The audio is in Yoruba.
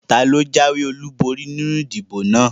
Taló jáwé ọlúborí nínu ìdìbò náà?